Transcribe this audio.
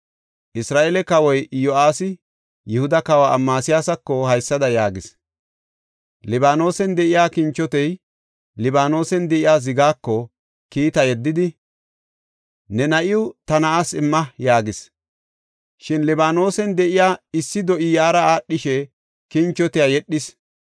Isra7eele kawoy Iyo7aasi Yihuda kawa Amasiyaasako haysada yaagis; “Libaanosen de7iya kinchotey Libaanosen de7iya zigaako kiita yeddidi, ‘Ne na7iw ta na7aas imma’ yaagis. Shin Libaanosen de7iya issi do7i yaara aadhishe kinchotiya yedhis.